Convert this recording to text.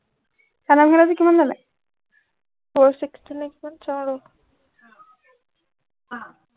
চাদৰ মেখেলা যোৰ কিমান ললে four sixty নে কিমান চাও ৰ